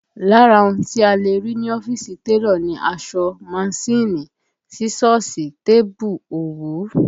Lára ohun tí a lè rí ní ọ́fíìsì télọ̀ ni aṣọ, manṣíìnì, sísọ́ọ̀sì, tébù, òwú